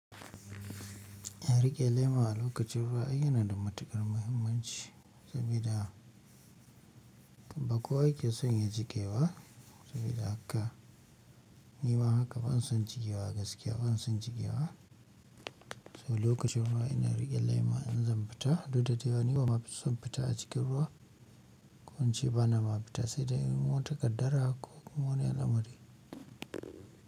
Riƙe lema a lokacin ruwa ai yana da matukar muhimmanci saboda ba ko wa ya ke son ya jiƙe ba, saboda haka ni ma haka ban son jikewa a gaskiya ban son jikewa. So lokacin ruwa ina riƙe lema in zan fita, duk da dai bana son fita a cikin ruwa, ko in ce bana ma fita sai dai in wa takaddara ko mun yi wani lamari.